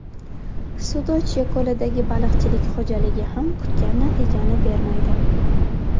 Sudochye ko‘lidagi baliqchilik xo‘jaligi ham kutgan natijani bermaydi.